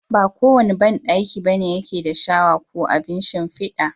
Ba kowanne banɗaki bane yake da shawa ok abin shin fiɗi.